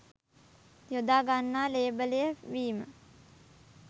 යොදා ගන්නා ලේබලය වීම